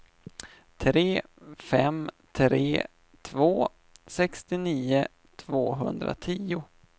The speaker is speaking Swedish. tre fem tre två sextionio tvåhundratio